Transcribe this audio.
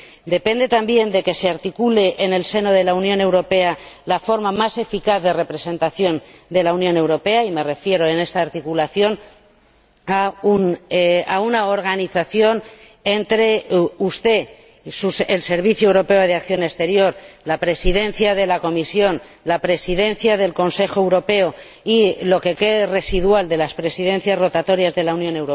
depende también de que se articule en el seno de la Unión Europea la forma más eficaz de representación de la misma, y me refiero en esta articulación a una organización entre usted el Servicio Europeo de Acción Exterior la Presidencia de la Comisión, la Presidencia del Consejo Europeo y la participación, ahora residual, de las Presidencias rotatorias de la Unión,